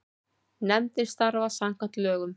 Nefndin starfar samkvæmt lögum.